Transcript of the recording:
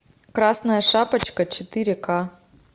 красная шапочка четыре ка